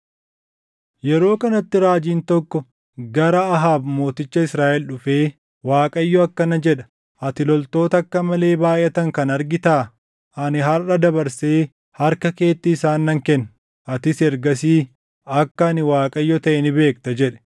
Yeroo kanatti raajiin tokko gara Ahaab mooticha Israaʼel dhufee, “ Waaqayyo akkana jedha: ‘Ati loltoota akka malee baayʼatan kana argitaa? Ani harʼa dabarsee harka keetti isaan nan kenna; atis ergasii akka ani Waaqayyo taʼe ni beekta’ ” jedhe.